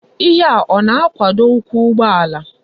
Ihe a o na-akwado ukwu ugboala?